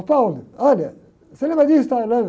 Ô, olha, você lembra disso, tal e?